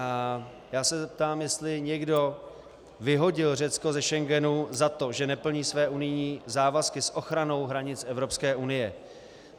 A já se zeptám, jestli někdo vyhodil Řecko ze Schengenu za to, že neplní své unijní závazky s ochranou hranic EU.